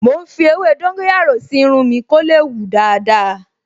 Mò ń fi ewé dóńgóyárò sí irun mi kó lè hù dáadáa